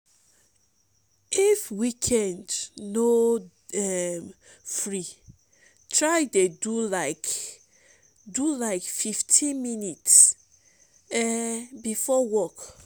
if weekend um no um free try dey do lyk do lyk fif ten minits um bifor work